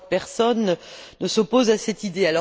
Je crois que personne ne s'oppose à cette idée.